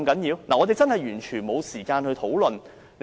議員完全沒有時間進行討論。